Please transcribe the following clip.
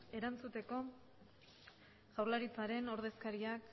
erantzuteko jaurlaritzaren ordezkariak